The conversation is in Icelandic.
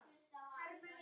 Rjúpan hér er afar gæf.